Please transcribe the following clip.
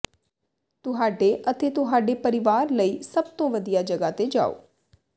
ਤੁਹਾਡੇ ਅਤੇ ਤੁਹਾਡੇ ਪਰਿਵਾਰ ਲਈ ਸਭ ਤੋਂ ਵਧੀਆ ਜਗ੍ਹਾ ਤੇ ਜਾਓ